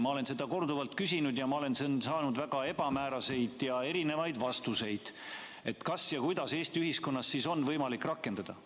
Ma olen seda korduvalt küsinud ja saanud väga ebamääraseid ja erinevaid vastuseid, kuidas Eesti ühiskonnas on võimalik seda sertifikaati rakendada.